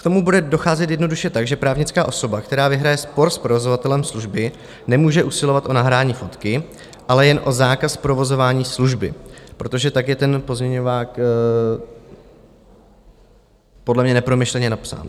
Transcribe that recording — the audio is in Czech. K tomu bude docházet jednoduše tak, že právnická osoba, která vyhraje spor s provozovatelem služby, nemůže usilovat o nahrání fotky, ale jen o zákaz provozování služby, protože tak je ten pozměňovák podle mě nepromyšleně napsán.